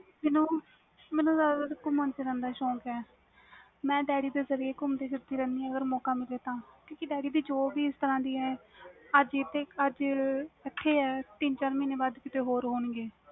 ਮੈਨੂੰ ਜਿਆਦਾ ਗੁਮਨ ਫਿਰਨ ਦਾ ਸੌਕ ਵ ਮੈਂ daddy ਦੇ ਜਰੀਏ ਗੁੰਮਦੀ ਰਹਦੀ ਵ ਕਿਉਕਿ daddy ਦੀ job ਹੀ ਇਸ ਤਰਾਂ ਦੀ ਵ ਕਦੇ ਇਥੇ ਕਦੇ ਓਥੇ ਅਜੇ ਇਥੇ ਵ ਤਿੰਨ ਚਾਰ ਮਹੀਨੇ ਬਾਅਦ ਕੀਤੇ ਹੋਰ ਹੋਣ ਗੇ